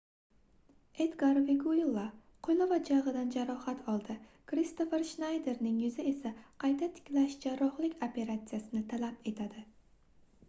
edgar veguilla qoʻli va jagʻidan jarohat oldi kristofer shnayderning yuzi esa qayta tiklash jarrohlik operatsiyasini talab etadi